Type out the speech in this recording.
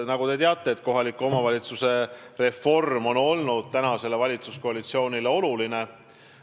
Nagu te teate, on kohaliku omavalitsuse reform praegusele valitsuskoalitsioonile oluline olnud.